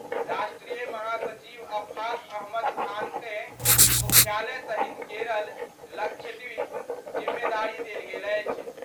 राष्ट्रीय महासचिव अफाक अहमद खानकँ मुख्यालय सहित केरल, लक्षद्वीप, जिम्मेदारी देल गेल अछि।